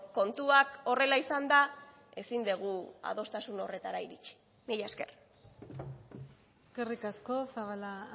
kontuak horrela izanda ezin dugu adostasun horretara iritsi mila esker eskerrik asko zabala